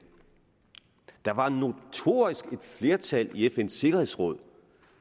der var notorisk et flertal i fns sikkerhedsråd